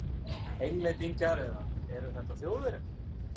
Englendingar- eða eru þetta Þjóðverjar?